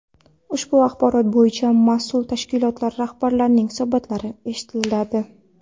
Ushbu axborot bo‘yicha mas’ul tashkilotlar rahbarlarining hisobotlari eshitiladi.